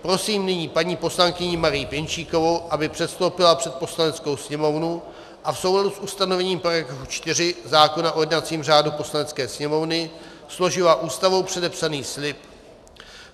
Prosím nyní paní poslankyni Marii Pěnčíkovou, aby předstoupila před Poslaneckou sněmovnu a v souladu s ustanovením § 4 zákona o jednacím řádu Poslanecké sněmovny složila Ústavou předepsaný slib.